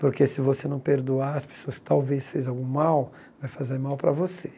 Porque se você não perdoar, as pessoas talvez fez algum mal, vai fazer mal para você.